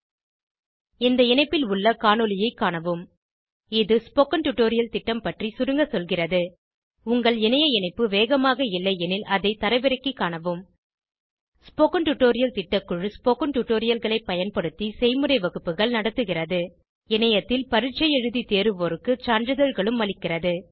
இந்த இணைப்பில் உள்ள காணொளியைக் காணவும் httpspoken tutorialorgWhat is a Spoken tutorial இது ஸ்போகன் டுடோரியல் திட்டம் பற்றி சுருங்க சொல்கிறது உங்கள் இணைய இணைப்பு வேகமாக இல்லையெனில் அதை தரவிறக்கிக் காணவும் ஸ்போகன் டுடோரியல் திட்டக்குழு ஸ்போகன் டுடோரியல்களைப் பயன்படுத்தி செய்முறை வகுப்புகள் நடத்துகிறது இணையத்தில் பரீட்சை எழுதி தேர்வோருக்கு சான்றிதழ்களும் அளிக்கிறது